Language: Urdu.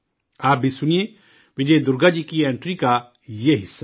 آپ بھی سنئے وجے درگا جی کی انٹری کا یہ حصہ